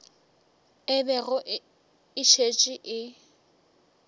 e bego e šetše e